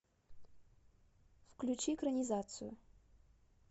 включи экранизацию